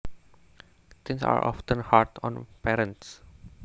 Teens are often hard on parents